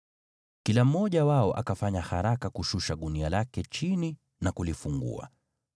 Kila mmoja wao akafanya haraka kushusha gunia lake chini na kulifungua.